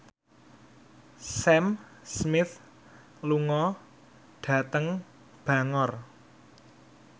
Sam Smith lunga dhateng Bangor